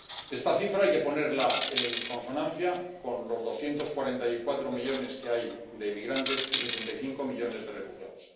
Esta cifra hay que ponerla en consonancia con los 244 millones de inmigrantes y 65 millones de refugiados.